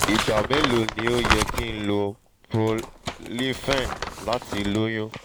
igba melo ni o yẹ ki n lo prolifen lati loyun?